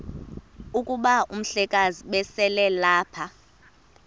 kuba umhlekazi ubeselelapha